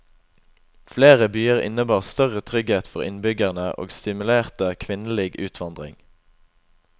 Flere byer innebar større trygghet for innbyggerne og stimulerte kvinnelig utvandring.